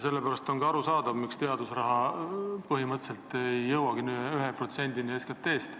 Sellepärast on ka arusaadav, miks teadusraha põhimõtteliselt ei jõuagi 1%-ni SKT-st.